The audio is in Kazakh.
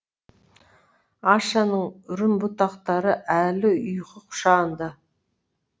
ашаның үрім бұтақтары әлі ұйқы құшағында